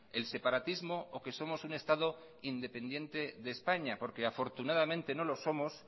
el separatismo o que somos un estado independiente de españa porque afortunadamente no lo somos